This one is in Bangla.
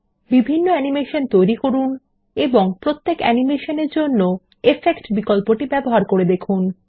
বিভিন্ন অ্যানিমেশন তৈরি করুন এবং পত্যেক প্রতিটি অ্যানিমেশন এর জন্য ইফেক্ট বিকল্পটি ব্যবহার করুন